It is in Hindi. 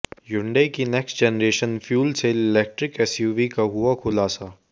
हुंडई की next generation fuel cell electric SUV का हुआ खुलासा